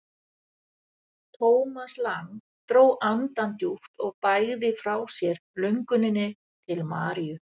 Thomas Lang dró andann djúpt og bægði frá sér lönguninni til Maríu.